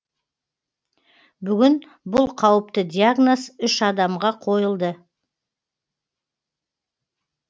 бүгін бұл қауіпті диагноз үш адамға қойылды